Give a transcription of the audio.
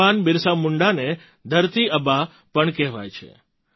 ભગવાન બિરસા મુંડાને ધરતી આબા પણ કહેવાય છે